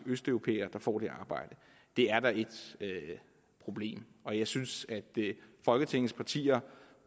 østeuropæere der får det arbejde det er da et problem og jeg synes at folketingets partier